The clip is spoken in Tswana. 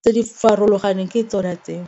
tse di farologaneng ke tsona tseo.